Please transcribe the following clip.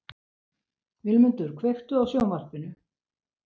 Vilmundur, kveiktu á sjónvarpinu.